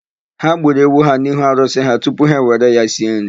Ha gburu ewu ha n'ihu arụsị ha tupu ha were ya sie nri.